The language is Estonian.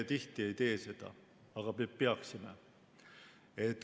Tihti me ei tee seda, aga peaksime.